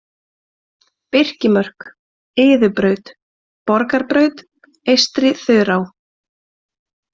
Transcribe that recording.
Birkimörk, Iðubraut, Borgarbraut, Eystri-Þurá